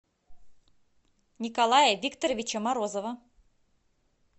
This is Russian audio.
николая викторовича морозова